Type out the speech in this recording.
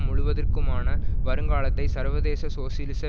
முழுவதிற்குமான வருங்காலத்தை சர்வதேச சோசியலிச